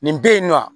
Nin bɛ yen nɔ